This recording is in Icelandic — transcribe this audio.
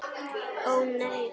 Ó nei!